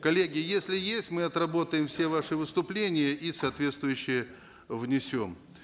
коллеги если есть мы отработаем все ваши выступления и соотвествующее внесем